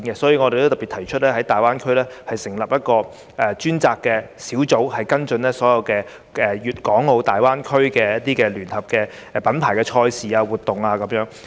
因此，我特別提出在大灣區成立一個專責小組，跟進所有粵港澳大灣區的聯合品牌賽事和活動。